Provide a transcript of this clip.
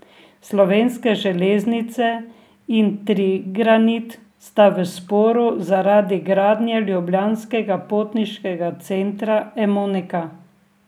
Slovenske železnice in Trigranit sta v sporu zaradi gradnje ljubljanskega potniškega centra Emonika.